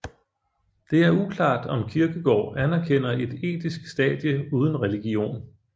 Det er uklart om Kierkegaard anerkender et etisk stadie uden religion